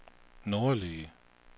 nordlige